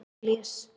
Árelíus